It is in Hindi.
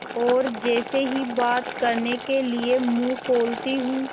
और जैसे ही बात करने के लिए मुँह खोलती हूँ